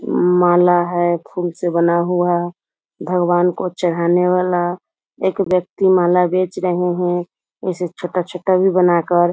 उम्म माला है फुल से बना हुआ भगवान को चढ़ाने वाला। एक व्यक्ति माला बेच रहें हैं। इसे छोटा-छोटा भी बनाकर।